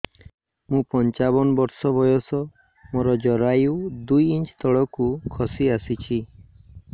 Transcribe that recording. ମୁଁ ପଞ୍ଚାବନ ବର୍ଷ ବୟସ ମୋର ଜରାୟୁ ଦୁଇ ଇଞ୍ଚ ତଳକୁ ଖସି ଆସିଛି